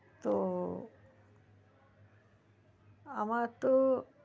তো আমার তো